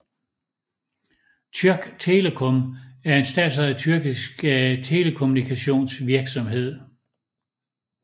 Türk Telekom er en statsejet tyrkisk telekommunikationsvirksomhed